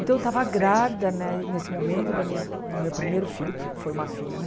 Então, eu estava grávida né nesse momento do meu primeiro filho, que foi uma filha, né?